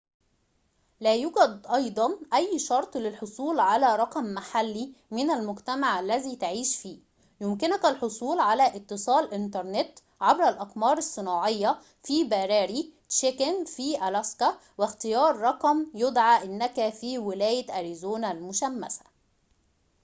لا يوجد أيضاً أي شرطٍ للحصول على رقمٍ محلي من المجتمع الذي تعيش فيه يمكنك الحصول على اتصال إنترنت عبر الأقمار الصناعية في براري تشيكن في ألاسكا واختيار رقم يَدّعِي أنك في ولاية أريزونا المشمسة